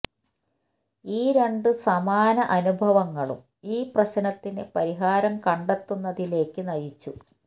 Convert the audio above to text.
ഈ രണ്ടു സമാന അനുഭവങ്ങളും ഈ പ്രശ്നത്തിന് പരിഹാരം കണ്ടെത്തുന്നതിലേക്ക് നയിച്ചു